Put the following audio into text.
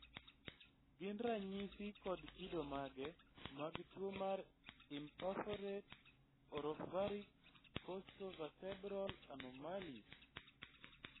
gin ranyisi kod kido mage mag tuwo mar Imperforate oropharynx costo vetebral anomalies?